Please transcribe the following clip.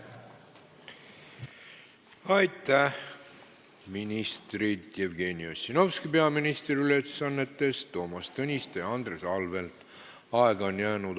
Aitäh, ministrid: Jevgeni Ossinovski peaministri ülesannetes, Toomas Tõniste ja Andres Anvelt!